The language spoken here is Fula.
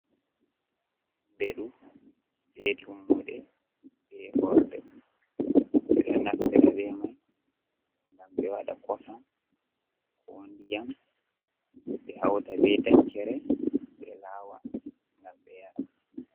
Beɗu be tummuɗe be horɗe. Be ɗo nastira be man ngam be waɗa kosan ko nɗiyam. Be hauta bei ɗankere be lawa ngam be yara.